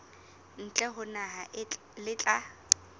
ntle ho naha le tla